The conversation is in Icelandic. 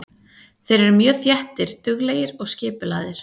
Þeir eru mjög þéttir, duglegir og skipulagðir.